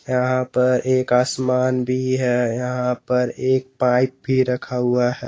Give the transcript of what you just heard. यहां पर एक आसमान भी है यहां पर एक पाइप भी रखा हुआ है।